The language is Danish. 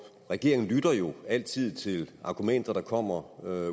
regeringen lytter jo altid til argumenter der kommer